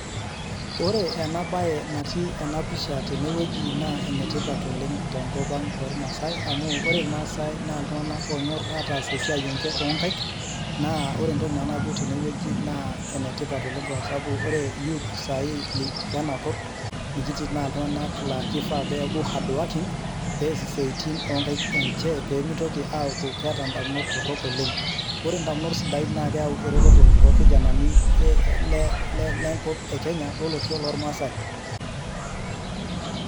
ore enabaye natii enapisha teneweji naa ebaye etipat oleng too ilmaasai amu ore imaasai naa iltunganak onyor ataas esiai enye oo ingaik, naa ore entoki najo nanu teweji naa enetipat oleng ore youth lenakop nikitii sai naa kifaa pee eku hardwokin pee ess isitian onkaik enye naa keyau eretoto lenkop ekenya losho loo ilmaasai.